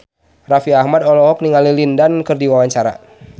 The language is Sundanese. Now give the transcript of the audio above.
Raffi Ahmad olohok ningali Lin Dan keur diwawancara